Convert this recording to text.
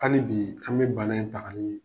Hali bii, an be bana in ta k'a ye